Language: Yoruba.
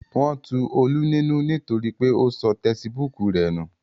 Wọn tu Olú nínú nítorí pé ó sọ tesibúùkù rẹ̀ nù